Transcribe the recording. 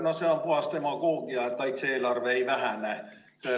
No see on puhas demagoogia, et kaitse-eelarve ei vähene.